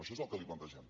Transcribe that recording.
això és el que li plantegem